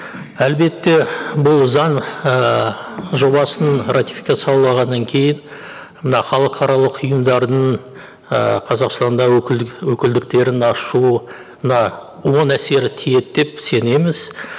әлбетте бұл заң ііі жобасын ратификациялағаннан кейін мына халықаралық ұйымдардың і қазақстанда өкілдіктерін ашуына оң әсері тиеді деп сенеміз